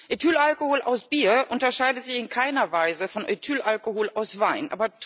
Ethylalkohol aus Bier unterscheidet sich in keiner Weise von Ethylalkohol aus Wein.